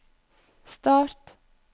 start